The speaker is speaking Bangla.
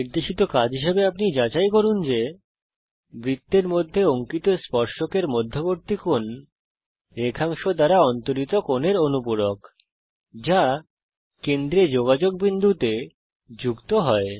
নির্দেশিত কাজ হিসাবে আমি চাই আপনি যাচাই করুন যে160 বৃত্তের মধ্যে অঙ্কিত স্পর্শকের মধ্যবর্তী কোণ রেখাংশ দ্বারা অন্তরিত কোণের অনুপূরক যা কেন্দ্রে যোগাযোগ বিন্দুতে যুক্ত হয়